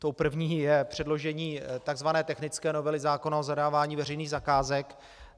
Tou první je předložení tzv. technické novely zákona o zadávání veřejných zakázek.